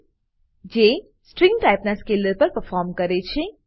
છે જે સ્ટ્રીંગ ટાઈપના સ્કેલર પર પરફોર્મ કરે છે